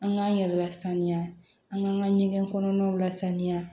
An k'an yɛrɛ lasaniya an k'an ka ɲɛgɛn kɔnɔnaw lasaniya